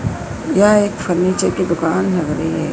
यह एक फर्नीचर की दुकान लग रही है।